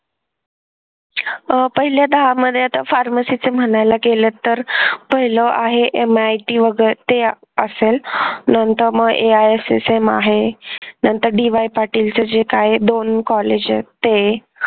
अह पहिल्या दहा मध्ये आता pharmacy चे म्हणायला गेलं तर पाहिलं आहे MIT वैगेरे ते असेल नंतर मग AISSM आहे नंतर DY पाटीलच जे काय आहे दोन कॉलेज आहेत ते